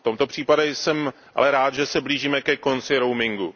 V tomto případě jsem ale rád, že se blížíme ke konci roamingu.